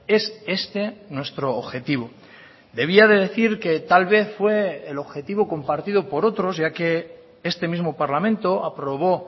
es este nuestro objetivo debía de decir que tal vez fue el objetivo compartido por otros ya que este mismo parlamento aprobó